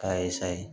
K'a ye sayi